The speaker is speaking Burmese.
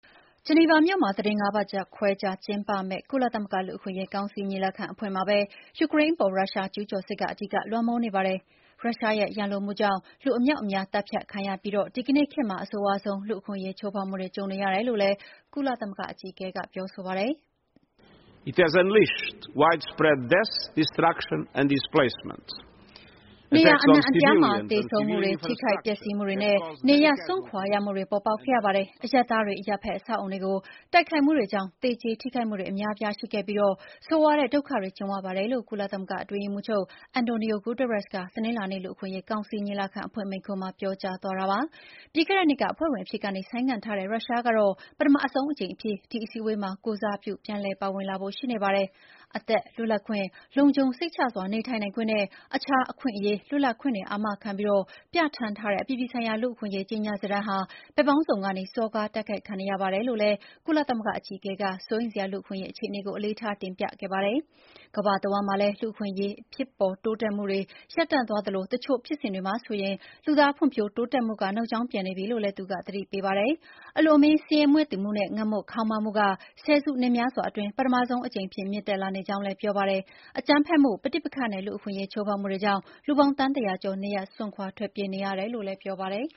ဂျနီဗာမြို့မှာ သီတင်း ၅ ပတ်ခွဲကြာကျင်းပမယ့် ကုလသမဂ္ဂလူ့အခွင့်အရေးကောင်စီ ညီလာခံအဖွင့်မှာပဲ ယူကရိန်းအပေါ် ရုရှားကျူးကျော်စစ်က အဓိကလွှမ်းမိုးနေပါတယ်။ ရုရှားရဲ့ရန်လိုမှုကြောင့် လူအမြောက်အမြား သတ်ဖြတ်ခံနေရပြီး ဒီကနေ့ခေတ်မှာ အဆိုးရွားဆုံး လူ့အခွင့်အရေးချိုးဖောက်မှုတွေ ကြုံနေရတယ်လို့လည်း ကုလသမဂ္ဂ အကြီးအကဲက ပြောဆိုလိုက်တာပါ။ “နေရာအနှံ့အပြားမှာ သေဆုံးမှုတွေ၊ ထိခိုက်ပျက်စီးမှုတွေနဲ့ နေရပ်စွန့်ခွာရမှုတွေ ပေါ်ပေါက်ခဲ့ရပါတယ်။ အရပ်သားတွေ၊ အရပ်ဖက် အဆောက်အအုံတွေကို တိုက်ခိုက်မှုတွေကြောင့် အများအပြားသေကြေထိခိုက်ခဲ့ရပြီး ဆိုးရွားတဲ့ဒုက္ခတွေကြုံကြရပါတယ်။” လို့ ကုလသမဂ္ဂ အတွင်းရေးမှူးချုပ် Antonio Guterres က တနင်္လာနေ့ လူ့အခွင့်အရေးကောင်စီညီလာခံ အဖွင့်မိန့်ခွန်းမှာ ပြောကြားသွားတာပါ။ ပြီးခဲ့တဲ့နှစ်က အဖွဲ့ဝင်အဖြစ်ကနေ ဆိုင်းငံ့ထားတဲ့ ရုရှားကတော့ ပထမဆုံးအကြိမ် အဖြစ် ဒီ အစည်းအဝေးတွေမှာ ကိုယ်စားပြု ပြန်လည်ပါဝင်လာဖို့ရှိနေပါတယ်။ “အသက်၊ လွတ်လပ်ခွင့်၊ လုံခြုံစိတ်ချစွာနေထိုင်နိုင်ခွင့်နဲ့ အခြားအခွင့်အရေး၊ လွတ်လပ်ခွင့်တွေအာမခံပြီး ပြဌာန်းထားတဲ့ အပြည်ပြည်ဆိုင်ရာလူ့အခွင့်အရေးကြေညာစာတမ်းဟာ “ဘက်ပေါင်းစုံကနေ စော်ကားတိုက်ခိုက်ခံနေရပါတယ်” လို့လည်း ကုလသမဂ္ဂအကြီးအကဲက စိုးရိမ်စရာ လူ့အခွင့်အရေးအခြေအနေကို အလေးထားတင်ပြခဲ့ပါတယ်။ ကမ္ဘာတဝန်းမှာလည်း လူ့အခွင့်အရေး ဖြစ်ပေါ်တိုးတက်မှုရပ်တန့်သွားသလို တချို့ ဖြစ်စဉ်တွေမှာဆိုရင် လူသားဖွံ့ဖြိုးတိုးတက်မှုက နောက်ကြောင်းပြန်နေပြီလို့လည်း သူကသတိပေးခဲ့ပါတယ်။ အလွန်အမင်းဆင်းရဲမွဲတေမှုနဲ့ ငတ်မွတ်ခေါင်းပါးမှုဟာ ဆယ်စုနှစ်များစွာအတွင်းမှာ ပထမဆုံးအကြိမ်အဖြစ် မြင့်တက်လာနေကြောင်းလည်း ပြောပါတယ်။ အကြမ်းဖက်မှု၊ ပဋိပက္ခနဲ့ လူ့အခွင့်အရေးချိုးဖောက်မှုတွေကြောင့် လူပေါင်း သန်း ၁၀၀ ကျော် နေရပ်စွန့်ထွက်ပြေးနေရတယ် လို့လည်း ပြောပါတယ်